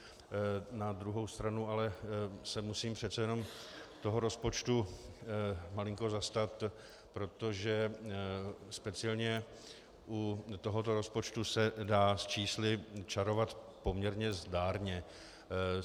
Na druhou stranu ale se musím přece jen toho rozpočtu malinko zastat, protože speciálně u tohoto rozpočtu se dá s čísly čarovat poměrně zdárně.